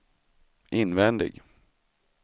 invändig